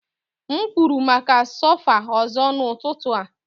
M kwụrụ maka sofa ọzọ n'ụtụtụ a.